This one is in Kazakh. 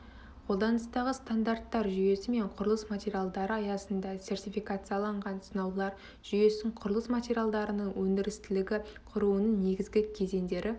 қолданыстағы стандарттар жүйесі мен құрылыс материалдары аясында сертификацияланған сынаулар жүйесін құрылыс материалдарының өндірістілігін құрудың негізгі кезеңдері